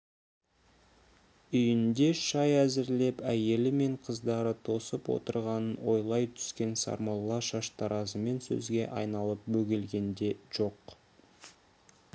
үйінде шай әзірлеп әйелі мен қыздары тосып отырғанын ойлай түскен сармолла шаштаразымен сөзге айналып бөгелген де жоқ